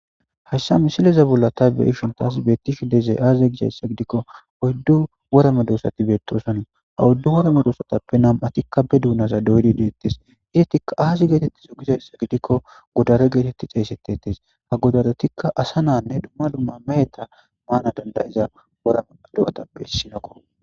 hayssa misileza bolla tabeishontas beettishi dezey aaze gizayssa gidikko oyddu worama doosati beettosana ha wuddu worame doosotappe nam7atikka be duunaza doydi deettes izetikka aazi geetetti su gizayssa gidikko godare geetetti xeesetetes ha godarotikka asa naanne dumma lumma meeta maana dandayiza worama do7atappe hissinokko